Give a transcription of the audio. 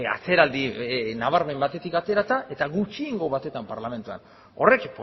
atzeraldi nabarmen batetik aterata eta gutxiengo batetan parlamentuan horrek